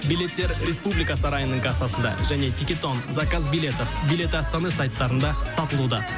билеттер республика сарайының кассасында және тикетон заказ билетов билеты астаны сайттарында сатылуда